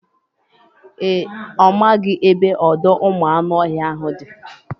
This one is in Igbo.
Ee, ọ maghị ebe ọdọụmụanụọhịa ahụ dị